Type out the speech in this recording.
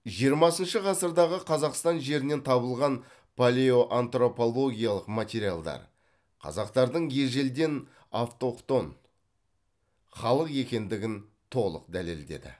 жиырмасыншы ғасырдағы қазақстан жерінен табылған палеоантропологиялық материалдар қазақтардың ежелден автохтон халық екендігін толық дәлелдеді